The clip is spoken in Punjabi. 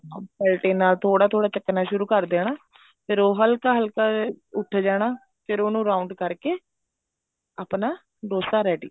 ਪਲਟੇ ਨਾਲ ਥੋੜਾ ਥੋੜਾ ਚੱਕਣਾ ਸ਼ੁਰੂ ਕਰ ਦੇਣਾ ਫ਼ੇਰ ਉਹ ਹਲਕਾ ਹਲਕਾ ਜਾ ਉੱਠ ਜਾਣਾ ਫ਼ੇਰ ਉਹਨੂੰ round ਕਰਕੇ ਆਪਣਾ dosa ready